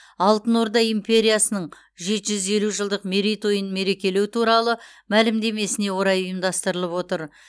алтын орда империясының жеті жүз елу жылдық мерейтойын мерекелеу туралы мәлімдемесіне орай ұйымдастырылып отыр